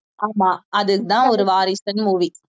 ஆமா அதுதான் ஒரு வாரிசுனு movie